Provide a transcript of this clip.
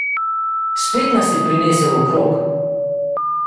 Spet nas je prinesel okrog.